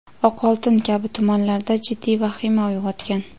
Oqoltin kabi tumanlarda jiddiy vahima uyg‘otgan.